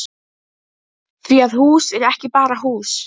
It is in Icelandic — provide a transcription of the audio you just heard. Því að hús er ekki bara hús.